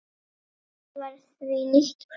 Þetta var því nýtt hverfi.